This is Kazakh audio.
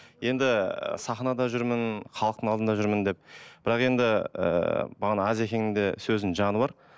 енді сахнада жүрмін халықтың алдында жүрмін деп бірақ енді ыыы бағана азекеңнің де сөзінің жаны бар